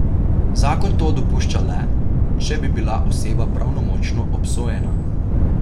Zakon to dopušča le, če bi bila oseba pravnomočno obsojena.